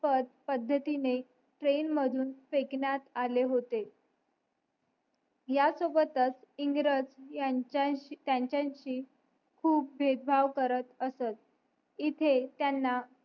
पद्धतीने ट्रेन मधून फेकण्यात आले होते ह्या सोबतच इंग्रज त्यांच्याशी खूप भेदभाव करत असत इथे त्यांना